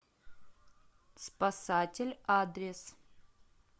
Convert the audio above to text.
спасатель адрес